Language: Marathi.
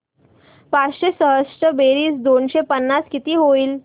पाचशे सहासष्ट बेरीज दोनशे पन्नास किती होईल